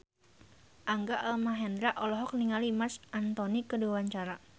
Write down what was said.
Rangga Almahendra olohok ningali Marc Anthony keur diwawancara